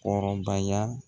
Kɔrɔbaya.